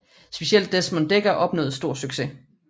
Specielt Desmond Dekker opnåede stor succes